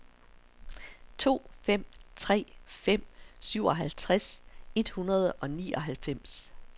to fem tre fem syvoghalvtreds et hundrede og nioghalvfems